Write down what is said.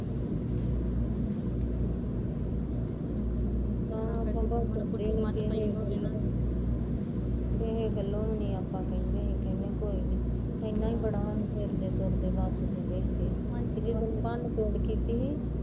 ਕਿਸੇ ਗੱਲੋਂ ਵੀਨੀ ਆਪਾਂ ਕਹਿੰਦੇ ਵੀ ਕੋਈ ਨੀ, ਏਨਾਂ ਹੀਂ ਬੜਾ ਵੀ ਸਾਨੂੰ ਫਿਰਦੇ ਤੁਰਦੇ ਵਸਦੇ ਦਿਖਦੇ ਤੇ ਜਦੋਂ ਭੰਨ ਤੋੜ ਕੀਤੀ ਸੀ